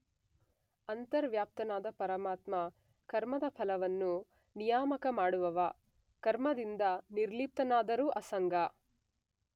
ಅಂತರ್ವ್ಯಾಪ್ತನಾದ ಪರಮಾತ್ಮ ಕರ್ಮದ ಫಲವನ್ನು ನಿಯಾಮಕ ಮಾಡುವವ; ಕರ್ಮದಿಂದ ನಿರ್ಲಿಪ್ತನಾದರೂ ಅಸಂಗ